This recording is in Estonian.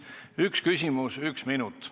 Üks küsimus, üks minut.